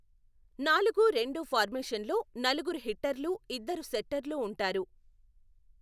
నాలుగు రెండు ఫార్మేషన్లో నలుగురు హిట్టర్లు, ఇద్దరు సెట్టర్లు ఉంటారు.